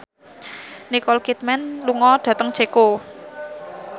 Nicole Kidman lunga dhateng Ceko